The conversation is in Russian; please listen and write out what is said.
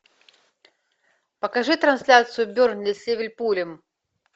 покажи трансляцию бернли с ливерпулем